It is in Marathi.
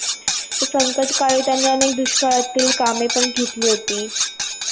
संकटकाळी त्यांनी अनेक दुष्काळातील कामे पण घेतली होती.